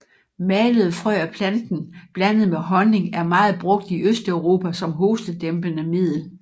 Malede frø af planten blandet med honning er meget brugt i Østeuropa som hostedæmpende middel